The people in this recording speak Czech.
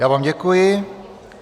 Já vám děkuji.